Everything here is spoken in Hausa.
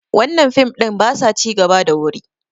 wannan fim ɗin ba sa ci gaba da wuri